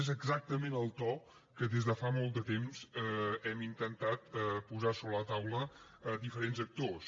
és exactament el to que des de fa molt de temps hem intentat posar sobre la taula diferents actors